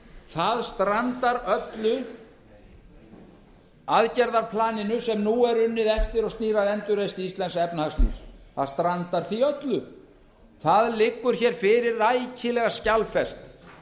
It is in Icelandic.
það strandar öllu aðgerðaplaninu sem nú er unnið eftir og stýra endurreisn íslensks efnahagslífs það strandar því öllu það liggur fyrir rækilega skjalfest